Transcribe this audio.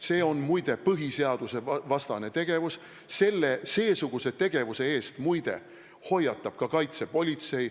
See on muide põhiseadusvastane tegevus, seesuguse tegevuse eest hoiatab ka kaitsepolitsei.